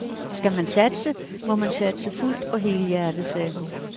Skal man satse, må man satse fuldt og helhjertet, sagde hun.